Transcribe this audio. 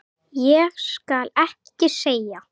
Ég skal ekki segja.